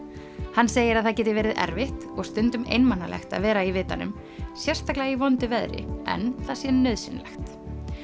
hann segir að það geti verið erfitt og stundum einmanalegt að vera í vitanum sérstaklega í vondu veðri en það sé nauðsynlegt